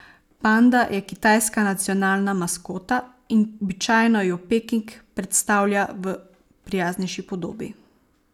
Panda je kitajska nacionalna maskota in običajno jo Peking predstavlja v prijaznejši podobi.